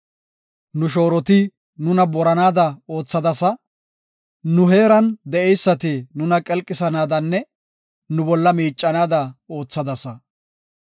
Nu shooroti nuna boranaada oothadasa; nu heeran de7eysati nuna qilqisanaadanne nu bolla miicanaada oothadasa.